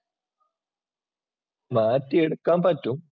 മാറ്റിയെടുക്കാൻ പറ്റും.